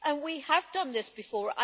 We have done this before.